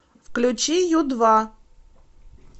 включи ю два